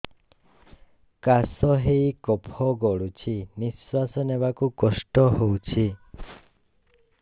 କାଶ ହେଇ କଫ ଗଳୁଛି ନିଶ୍ୱାସ ନେବାକୁ କଷ୍ଟ ହଉଛି